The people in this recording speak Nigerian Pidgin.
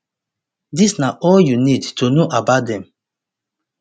dis na all you need to know about dem